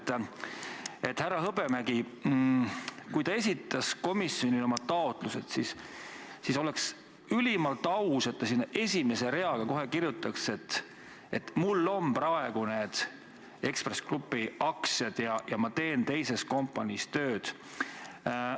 Kui härra Hõbemägi komisjonile oma taotluse esitas, siis oleks olnud ülimalt aus, kui ta oleks seal esimesel real kohe kirjutanud, et tal on praegu Ekspress Grupi aktsiad ja ta teeb teises kompaniis tööd.